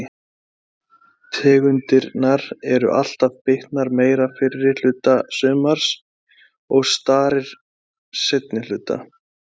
Víðitegundirnar eru alltaf bitnar meira fyrri hluta sumars og starir seinni hluta.